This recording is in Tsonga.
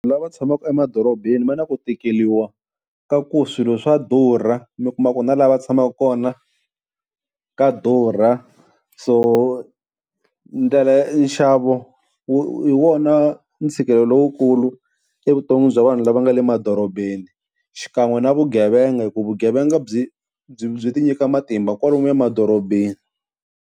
Lava tshamaka emadorobeni va na ku tikeriwa ka ku swilo swa durha, mi kuma ku na la va tshamaka kona ka durha. So ndlela ya nxavo hi wona ntshikelelo lowukulu evuton'wini bya vanhu lava nga le madorobeni, xikan'we na vugevenga hi ku vugevenga byi byi byi ti nyika matimba kwalomuya madorobeni.